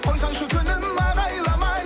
қойсаңшы күнім ағайламай